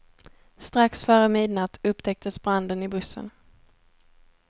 Strax före midnatt upptäcktes branden i bussen.